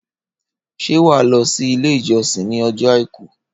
Ṣé wàá lọ sí ilé ìjọsìn ní ọjọ́ àìkú